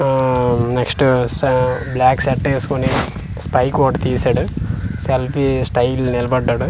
ఆ నెక్స్ట్ స black shirt ఎస్కోని స్పైక్ ఒకటి తీశాడు సెల్ఫీ స్టైల్ నిలబడ్డాడు.